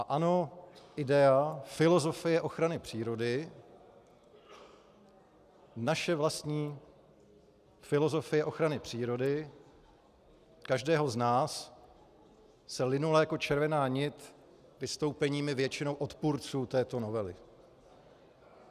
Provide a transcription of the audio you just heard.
A ano, idea, filozofie ochrany přírody, naše vlastní filozofie ochrany přírody každého z nás se vinula jako červená nit vystoupeními většinou odpůrců této novely.